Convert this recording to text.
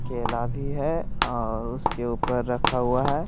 केला भी है और उसके ऊपर रखा हुआ है।